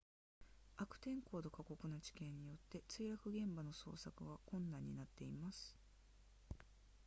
悪天候と過酷な地形によって墜落現場の捜索は困難になっています